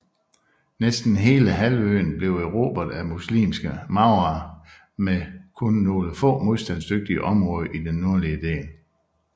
Næsten hele halvøen blev erobret af muslimske maurerne med kun nogle få modstandsdygtige områder i den nordlige del